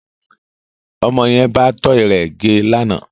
Ọmọ yẹn bá tọ́ì rẹ gẹ́ lánàá